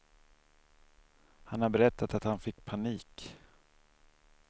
Han har berättat att han fick panik.